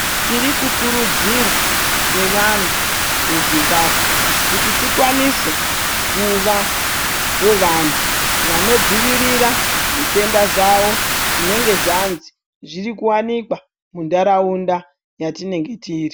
Tiri kukurudzirwa sevana veZimbabwe kuti tikwanise kuvawo vantu vanodzivirira zvitenda zvawo zvinenga zvanzi zviri kuwanikwa muntaraunda yatinenge tiri.